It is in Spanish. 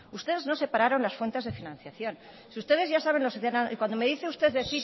ustedes no separaron las cuentas de financiación si ustedes ya saben cuando me dice usted de